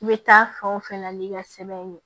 I bɛ taa fan o fɛnɛ n'i ka sɛbɛn ye